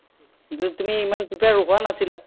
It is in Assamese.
যদি তুমি ইমান prepare হোৱা নাছিলা